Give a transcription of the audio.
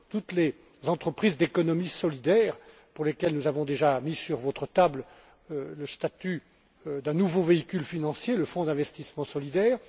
Toutes les entreprises d'économie solidaires pour lesquelles nous avons déjà mis sur votre table le statut d'un nouveau véhicule financier le Fonds d'investissement solidaire.